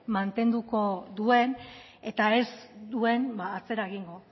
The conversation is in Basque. mantenduko duen eta ez duen atzera egingo